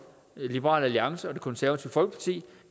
liberal alliance og det konservative folkeparti